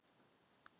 Og hér sagði enginn